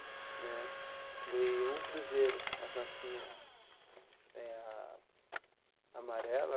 Né ganhei um cruzeiro, as notinha eh a amarela.